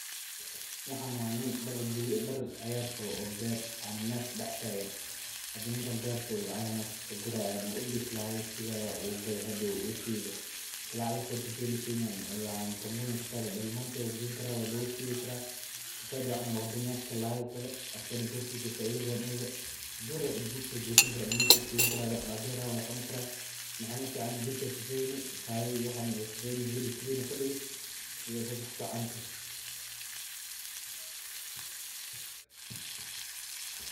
Waxan waa nin dar caagar ah qabo oo beer dex taagan cananasi wuu gadani karaa haduu rabaa ilmahiisa ayuu ugeesani karaa saas ayeey kufican tahay.